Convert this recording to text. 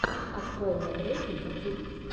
открой мне треки ютюб